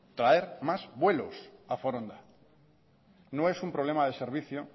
traer más vuelos a foronda no es un problema de servicio